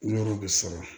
Yɔrɔw bɛ sara